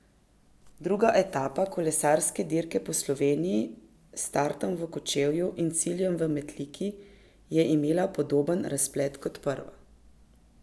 Druga etapa kolesarske dirke Po Sloveniji s startom v Kočevju in ciljem v Metliki je imela podoben razplet kot prva.